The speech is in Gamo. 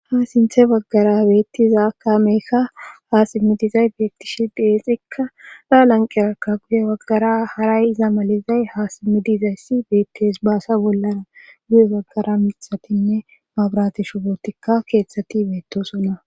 Ha sinthe baggara beettiza kaameekka haasimmidizay biyektishi deenxikka gaa lanqeraka guye waggara haray iza malizay ha simmidizayssi beettes baasa bollara guye baggara mithatinne mabratishu bootikka keeththati beettosona.